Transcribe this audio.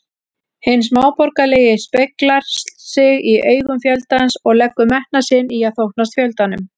Hinn smáborgaralegi speglar sig í augum fjöldans og leggur metnað sinn í að þóknast fjöldanum.